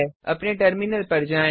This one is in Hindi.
अपने टर्मिनल पर जाएँ